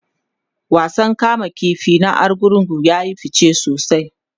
wasan kama ƙifi na argungu yayi fice sosai